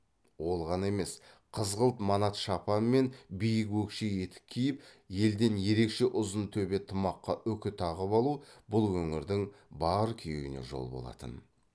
ол ғана емес қызыл манат шапан мен биік өкше етік киіп елден ерекше ұзын төбе тымаққа үкі тағып алу бұл өңірдің бар күйеуіне жол болатын